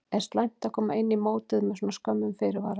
Er slæmt að koma inn í mótið með svona skömmum fyrirvara?